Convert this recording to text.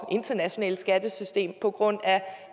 og internationale skattesystem på grund af